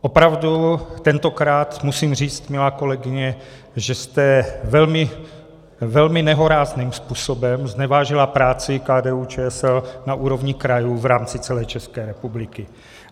Opravdu tentokrát musím říct, milá kolegyně, že jste velmi nehorázným způsobem znevážila práci KDU-ČSL na úrovni krajů v rámci celé České republiky.